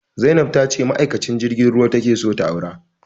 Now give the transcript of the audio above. Zainab ta ce ma'aikacin jirgin ruwa ta ke so ta aura